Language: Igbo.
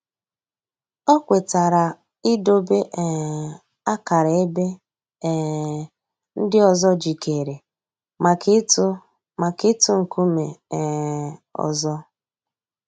Ọ̀ kwètara ídòbè um àkárà èbè um ńdí òzò jìkèrè mǎká ị̀tụ̀ mǎká ị̀tụ̀ ńkùmé̀ um òzò.